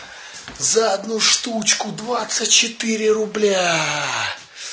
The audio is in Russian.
за одну штучку двадцать четыре рубля